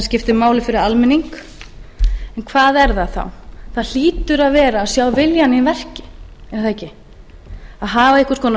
skiptir máli fyrir almenning en hvað er það þá það hlýtur að vera að sjá viljann í verki er það ekki að hafa einhvers konar